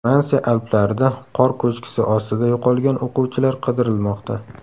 Fransiya Alplarida qor ko‘chkisi ostida yo‘qolgan o‘quvchilar qidirilmoqda.